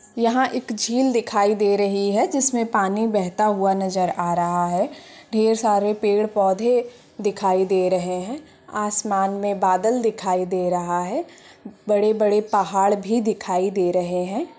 यहाँ एक झील दिखाई दे रही है जिसमे पानी बहता हुआ नजर आ रहा है ढेर सारे पेड़ पौधे दिखाई दे रहे हैं आसमान में बादल दिखाई दे रहा है बड़े बड़े पहाड़ भी दिखाई दे रहे हैं।